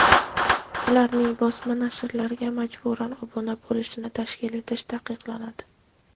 ularning bosma nashrlarga majburan obuna bo‘lishini tashkil etish taqiqlanadi.